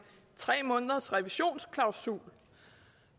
tre måneders revisionsklausul